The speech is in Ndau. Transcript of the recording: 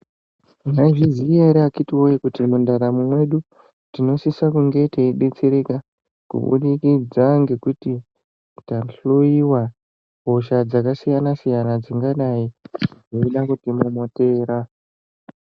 Mwaizviziya ere akhiti woyee kuti mundaramo mwedu tinosisa kunge teibetsereka kubudikidza ngekuti tahloiwa hosha dzakasiyana siyana dzingadai dzeida kutimomotera.